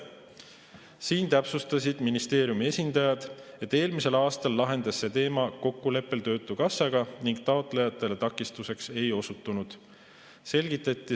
Siin täpsustasid ministeeriumi esindajad, et eelmisel aastal lahenes see teema kokkuleppel töötukassaga ning taotlejatele takistuseks ei osutunud.